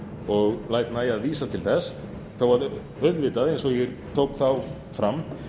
og læt nægja að vísa til þess þó að auðvitað eins og ég tó þá fram